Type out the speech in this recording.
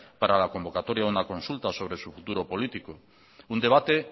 para la convocatoria de una consulta sobre su futuro político un debate